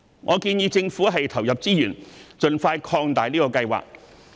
我建議政府投入資源，盡快擴大這個計劃。